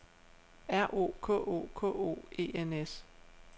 R O K O K O E N S